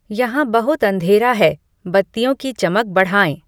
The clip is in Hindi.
यहाँ बहुत अंधेरा है बत्तियों की चमक बढ़ाएँ